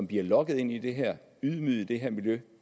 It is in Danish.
bliver lokket ind i det her ydmyget i det her miljø